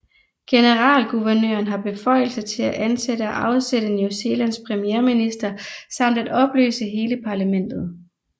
Generalguvernøren har beføjelse til at ansætte og afsætte New Zealands premierminister samt at opløse hele parlamentet